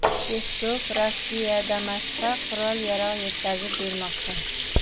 Peskov: Rossiya Damashqqa qurol-yarog‘ yetkazib bermoqda.